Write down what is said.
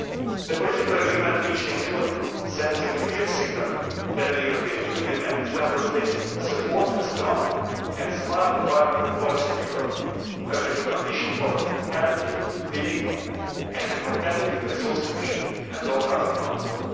The political agreement reached in June sends a clear signal that the European Union and its Member States support a strong and smart environmental policy in Europe as a key condition for healthy living and a competitive, resource efficient and low carbon economy.